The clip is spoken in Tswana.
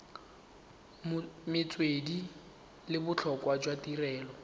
metswedi le botlhokwa jwa tirelo